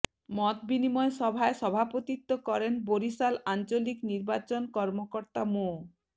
মতবিনিময় সভায় সভাপতিত্ব করেন বরিশাল আঞ্চলিক নির্বাচন কর্মকর্তা মো